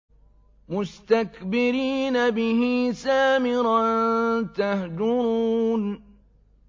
مُسْتَكْبِرِينَ بِهِ سَامِرًا تَهْجُرُونَ